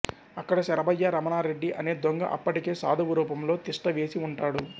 అక్కడ శరభయ్య రమణా రెడ్డి అనే దొంగ అప్పటికే సాధువు రూపంలో తిష్ఠ వేసి ఉంటాడు